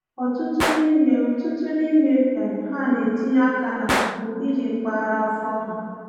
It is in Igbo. Ọtụtụ n’ime Ọtụtụ n’ime um ha na-etinye aka na mpụ iji kpara afọ ha.